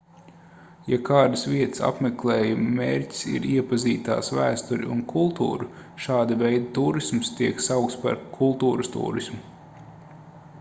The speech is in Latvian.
ja kādas vietas apmeklējuma mērķis ir iepazīt tās vēsturi un kultūru šāda veida tūrisms tiek saukts par kultūras tūrismu